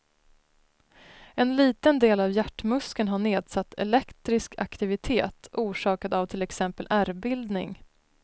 En liten del av hjärtmuskeln har nedsatt elektrisk aktivitet orsakad av till exempel ärrbildning.